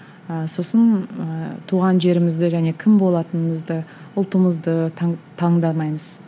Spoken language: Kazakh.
ы сосын ыыы туған жерімізді және кім болатынымызды ұлтымызды таңдамаймыз